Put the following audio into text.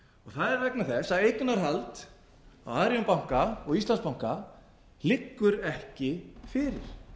það er vegna þess að eignarhald á arionbanka og íslandsbanka liggur ekki fyrir